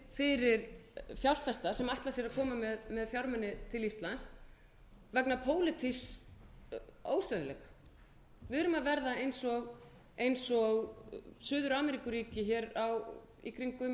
fyrir fjárfesta sem ætla sér að koma með fjármuni til íslands vegna pólitísks óstöðugleika við erum að verða eins og suður ameríkuríki hér í kringum nítján hundruð sextíu